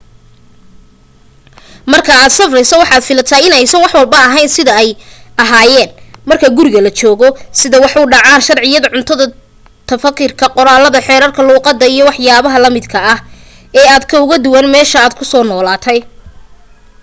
marka aad safreyso waxat filata in aysan waxwalba ahaneyn sida ay ayaahin marka guriga la joogo sida ay wax u dhacaan sharciyada cuntada tarafikada qolalka xerarka luqada iyo wax yabaha lamid ee aad ka ugu duwan meesha aad ku nooshahay